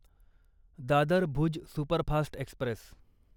Dadar Bhuj superfast Express